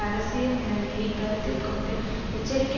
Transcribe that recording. அரசியல் நிலைமையை கருத்தில் கொண்டு எச்சரிக்கை